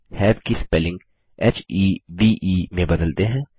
have की spelling हेवे में बदलते हैं